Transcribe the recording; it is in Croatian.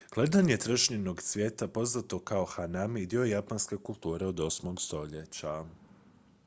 gledanje trešnjinog cvijeta poznato kao hanami dio je japanske kulture od 8. stoljeća